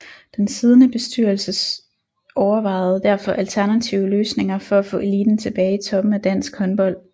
Den siddende bestyrelse overvejede derfor alternative løsninger for at få eliten tilbage i toppen af dansk håndbold